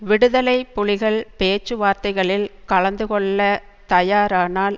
விடுதலை புலிகள் பேச்சுவார்த்தைகளில் கலந்து கொள்ள தயாரானால்